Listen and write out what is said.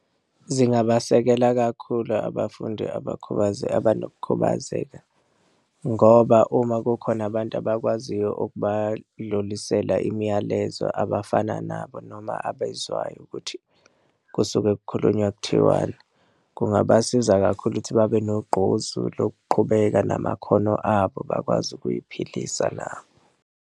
Zingabasekela kakhulu abafundi abakhubazekile, abanokukhubazeka, ngoba uma kukhona abantu abakwaziyo ukubadlulisela imiyalezo abafana nabo, noma abezwayo ukuthi kusuke kukhulunywa, kuthiwani kungabasiza kakhulu ukuthi babe nogqozi lokuqhubeka namakhono abo bakwazi ukuy'philisa nabo.